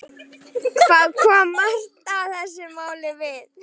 Hvað kom Marta þessu máli við?